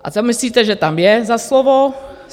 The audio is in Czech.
A co myslíte, že tam je za slovo?